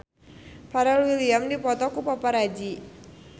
Pharrell Williams dipoto ku paparazi